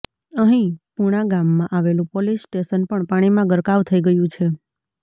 અહીં પુણાગામમાં આવેલું પોલીસ સ્ટેશન પણ પાણીમાં ગરકાવ થઈ ગયું છે